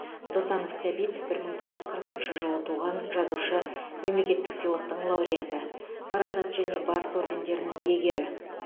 досанов сәбит бір мың тоғыз жүз қырықыншы жылы туған жазушы мемлекеттік сыйлықтың лауреаты парасат және барыс ордендерінің иегері